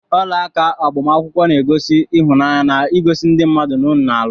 Ọlaaka agbamakwụkwọ na- egosi ịhụnanya na igosi ndị mmadụ na unu na- alụ